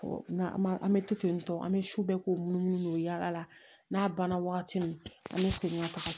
An bɛ to tentɔ an bɛ su bɛɛ k'o munumunu yaala n'a banna wagati min an bɛ segin ka taga